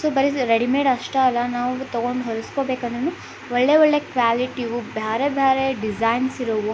so ಬರಿ readymade ಅಷ್ಟೇ ಅಲ್ಲ ನಾವು ತಗೊಂಡ್ ಹೊಲ್ಸ್ಕೊಬೇಕಂದ್ರೂನು ಒಳ್ಳೆ ಒಳ್ಳೆ ಕ್ವಾಲಿಟಿ ಇವು ಬೇರೆ ಬೇರೆ ಡಿಸೈನ್ಸ್ ಇರೋವು --